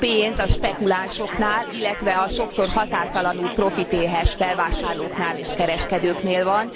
A pénz a spekulánsoknál, illetve a sokszor határtalanul profitéhes felvásárlóknál és kereskedőknél van.